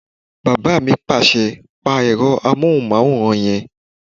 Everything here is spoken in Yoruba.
Bàbá mi pàṣẹ "pa ẹ̀rọ amóhùnmáwòrán yẹn!"